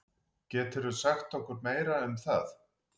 Geturðu sagt okkur meira um það?